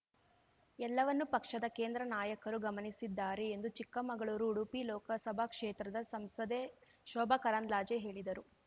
ಎಲ್ಲವನ್ನು ಪಕ್ಷದ ಕೇಂದ್ರ ನಾಯಕರು ಗಮನಿಸಿದ್ದಾರೆ ಎಂದು ಚಿಕ್ಕಮಗಳೂರುಉಡುಪಿ ಲೋಕಸಭಾ ಕ್ಷೇತ್ರದ ಸಂಸದೆ ಶೋಭಕರಂದ್ಲಾಜೆ ಹೇಳಿದರು